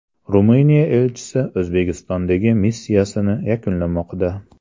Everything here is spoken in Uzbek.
Ruminiya elchisi O‘zbekistondagi missiyasini yakunlamoqda.